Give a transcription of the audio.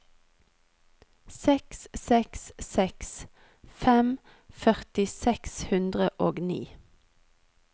seks seks seks fem førti seks hundre og ni